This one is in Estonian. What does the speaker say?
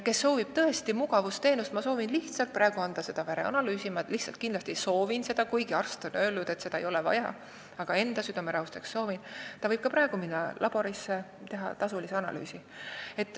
Kes soovib tõesti n-ö mugavusteenust, selles mõttes, et soovib kindlasti anda näiteks vereanalüüsi – kuigi arst on öelnud, et seda ei ole vaja teha, aga enda südame rahustuseks inimene siiski tahab teha –, see võib ka praegu minna laborisse ja lasta teha tasulise analüüsi.